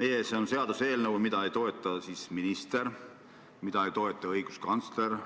Meie ees on seaduseelnõu, mida ei toeta minister, õiguskantsler